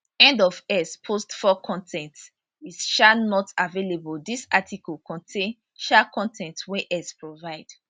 end of x post 4 con ten t is um not available dis article contain um con ten t wey x provide